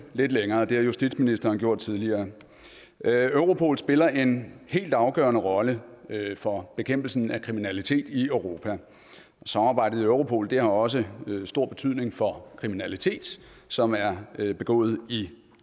lidt længere og det har justitsministeren gjort tidligere europol spiller en helt afgørende rolle for bekæmpelsen af kriminalitet i europa samarbejdet i europol har også stor betydning for kriminalitet som er begået i